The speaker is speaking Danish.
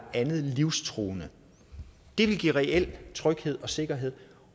andet livstruende det ville give reel tryghed og sikkerhed